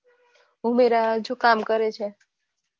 ઉમેરા જો કામ કરે છે